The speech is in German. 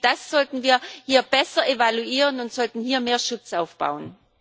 Ich denke, das sollten wir hier besser evaluieren und hier mehr Schutz aufbauen.